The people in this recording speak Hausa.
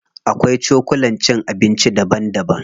Akwai cokulan cin abinci daban daban.